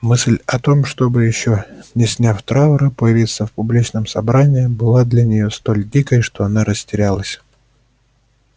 мысль о том чтобы ещё не сняв траура появиться в публичном собрании была для неё столь дикой что она растерялась